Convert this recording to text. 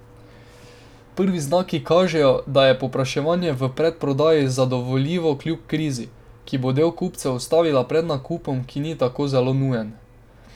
Prvi znaki kažejo, da je povpraševanje v predprodaji zadovoljivo kljub krizi, ki bo del kupcev ustavila pred nakupom, ki ni tako zelo nujen.